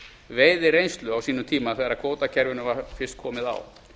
veiðireynslu á sínum tíma þegar kvótakerfinu var fyrst komið á